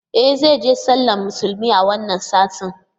E zai je sallar musulmi a wannan satin